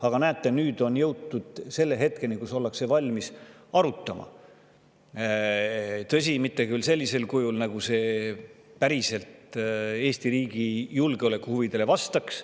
Aga näete, nüüd on jõutud selle hetkeni, kus ollakse valmis arutama, tõsi, mitte küll sellisel kujul, nagu see päriselt Eesti riigi julgeolekuhuvidele vastaks.